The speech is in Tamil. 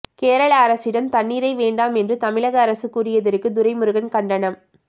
கேரள அரசிடம் தண்ணீரை வேண்டாம் என்று தமிழக அரசு கூறியதற்கு துரைமுருகன் கண்டனம்